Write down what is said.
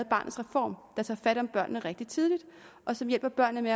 barnets reform der tager fat om børnene rigtig tidligt og som hjælper børnene